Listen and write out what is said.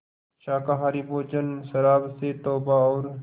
शाकाहारी भोजन शराब से तौबा और